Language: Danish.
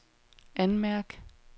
anmærk